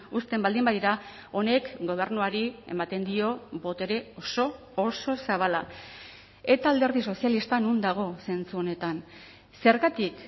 uzten baldin badira honek gobernuari ematen dio botere oso oso zabala eta alderdi sozialista non dago zentzu honetan zergatik